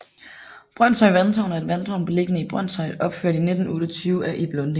Brønshøj Vandtårn er et vandtårn beliggende i Brønshøj opført i 1928 af Ib Lunding